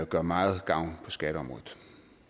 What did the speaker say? gøre meget gavn på skatteområdet